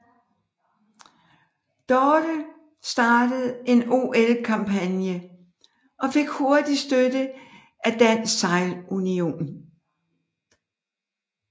Dorte startede en OL kampagne og fik hurtigt støtte af Dansk Sejlunion